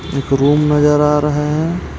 एक रूम नजर आ रहा हे.